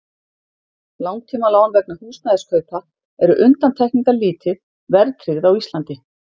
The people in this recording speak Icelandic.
Langtímalán vegna húsnæðiskaupa eru undantekningalítið verðtryggð á Íslandi.